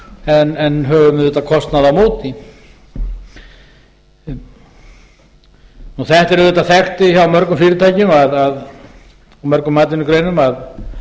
hlýst en höfum auðvitað kostnað á móti þetta er auðvitað þekkt hjá mörgum fyrirtækjum í mörgum atvinnugreinum að